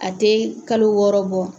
A tɛ kalo wɔɔrɔ bɔ